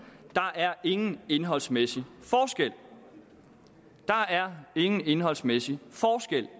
der er ingen indholdsmæssig forskel der er ingen indholdsmæssig forskel